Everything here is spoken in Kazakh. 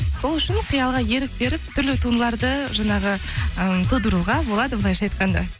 сол үшін қиялға ерік беріп түрлі туындыларды жаңағы м тудыруға болады былайша айтқанда